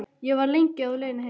Ég var lengi á leiðinni heim.